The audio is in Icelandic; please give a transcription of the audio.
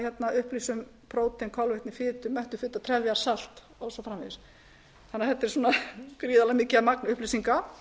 að upplýsa um prótein kolvetni fitu mettufitu og trefjasalt og svo framvegis þannig að þetta er gríðarlega mikið magn upplýsinga